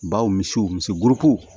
Baw misiw misiriko